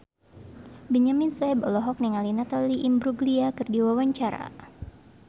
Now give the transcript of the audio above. Benyamin Sueb olohok ningali Natalie Imbruglia keur diwawancara